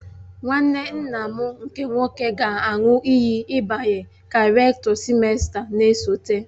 Nwanne nna m nke nwoke ga-aṅụ iyi ịbanye ka Rektọ sịmesta na-esote.